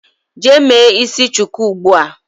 Jee me isi shuku ugbua.